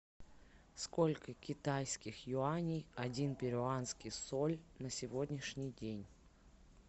сколько китайских юаней один перуанский соль на сегодняшний день